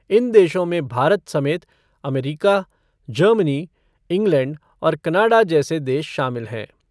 इन देशों में भारत समेत अमरीका, जर्मनी, इंग्लैंड और कनाडा जैसे देश शामिल हैं।